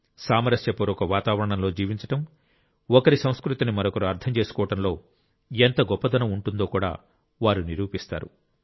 సామరస్యపూర్వక వాతావరణంలో జీవించడం ఒకరి సంస్కృతిని మరొకరు అర్థం చేసుకోవడంలో ఎంత గొప్పదనం ఉంటుందో కూడా వారు నిరూపిస్తారు